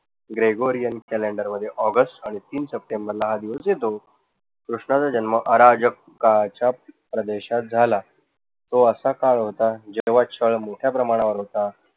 gregorian calender मध्ये August आणि तीन सप्टेंबर ला हा दिवस येतो. कृष्णाचा जन्म अराजक काळाच्या प्रदेशात झाला. तो असा काळ होता जेधवा छळ मोठ्या प्रमाणावर होता.